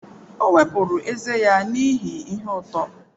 O wepụrụ ezé ya n'ihi ihe uto.